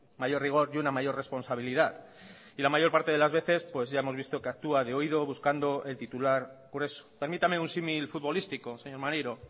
mayor rigor y una mayor responsabilidad y la mayor parte de las veces pues ya hemos visto que actúa de oído buscando el titular por eso permítame un símil futbolístico señor maneiro